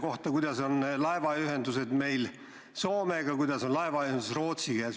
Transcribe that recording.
Ta küsis laevaühenduse kohta Soomega ja laevaühenduse kohta Rootsiga.